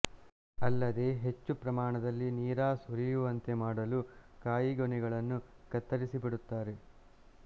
ಅಲ್ಲದೆ ಹೆಚ್ಚು ಪ್ರಮಾಣದಲ್ಲಿ ನೀರಾ ಸುರಿಯುವಂತೆ ಮಾಡಲು ಕಾಯಿಗೊನೆಗಳನ್ನು ಕತ್ತರಿಸಿಬಿಡುತ್ತಾರೆ